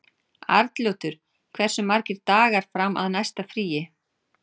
Arnljótur, hversu margir dagar fram að næsta fríi?